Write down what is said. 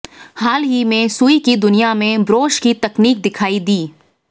हाल ही में सुई की दुनिया में ब्रोश की तकनीक दिखाई दी